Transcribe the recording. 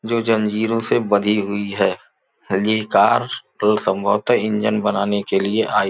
जो जंजीरों से बंधी हुई है। ये कार कल संभवतः इंजन बनाने के लिए आई --